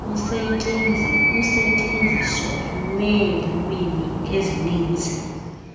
usetyenziso lweelwimi ezininzi